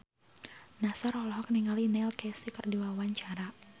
Nassar olohok ningali Neil Casey keur diwawancara